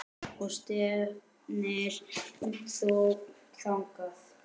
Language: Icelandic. Og stefnir þú þangað?